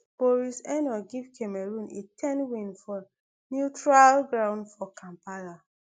boris enow give cameroon a ten win for neutral ground for kampala